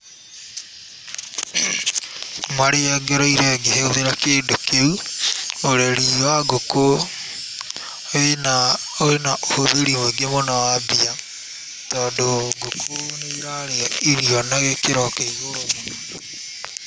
Marĩa ngereire ngĩhũthĩra kĩndũ kĩu, ũreri wa ngũkũ wĩna ũhũthĩri mũingĩ mũno wa mbia, tondũ ngũkũ nĩ irarĩa irio na gĩkĩro kĩa igũrũ mũno.